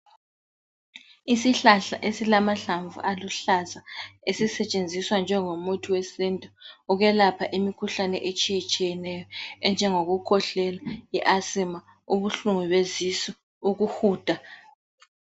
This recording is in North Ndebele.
Isihlahla esilamahlamvu aluhlaza esisetshenziswa njengomuthi wesintu ukwelapha imikhuhlane etshiyetshiyeneyo, enjengokukhwehlela, i-asima, ubuhlungu besisu, ukuhuda.